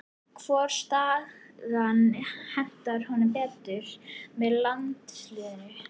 Hvor staðan hentar honum betur með landsliðinu?